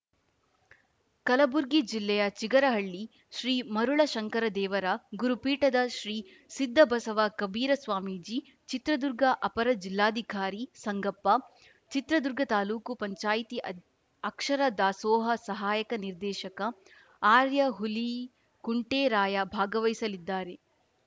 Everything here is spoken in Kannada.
ಕಲಬುರ್ಗಿ ಜಿಲ್ಲೆಯ ಚಿಗರಹಳ್ಳಿ ಶ್ರೀ ಮರುಳಶಂಕರದೇವರ ಗುರುಪೀಠದ ಶ್ರೀ ಸಿದ್ಧಬಸವ ಕಬೀರ ಸ್ವಾಮೀಜಿ ಚಿತ್ರದುರ್ಗ ಅಪರ ಜಿಲ್ಲಾಧಿಕಾರಿ ಸಂಗಪ್ಪ ಚಿತ್ರದುರ್ಗ ತಾಲೂಕು ಪಂಚಾಯಿತಿ ಅದ್ ಅಕ್ಷರ ದಾಸೋಹ ಸಹಾಯಕ ನಿರ್ದೇಶಕ ಆರ್ಯಾ ಹುಲಿಕುಂಟೆರಾಯ ಭಾಗವಹಿಸಲಿದ್ದಾರೆ